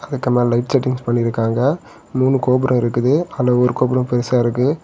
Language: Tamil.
அதுக்கு மேல லைட் செட்டிங்ஸ் பண்ணிருக்காங்க மூணு கோபுரோ இருக்கு அதுல ஒரு கோபுரம் பெருசா இருக்கு.